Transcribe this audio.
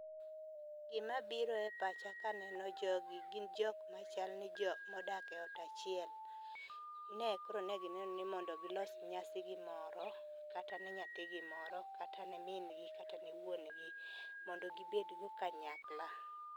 Gima biro e pacha ka aneno jogi gin jok machal ni jok modak e ot achiel. Ne koro gineno ni mondo gilos nyasi gi moro kata ne nyathi gi moro kata ne mingi kata ne wuongi mondo gibedgo kanyakla.